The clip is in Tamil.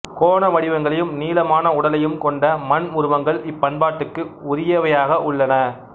கோண வடிவங்களையும் நீளமான உடலையும் கொண்ட மண் உருவங்கள் இப்பண்பாட்டுக்கு உரியவையாக உள்ளன